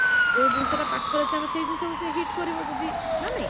ଯୋଉ ଜିଇନିଷଟା ପାଖରେ ଅଛି ଆମେ ସେଇ ଜିନିଷକୁ ସେ hit କରିବବ ଯଦି ନା ନାହିଁ?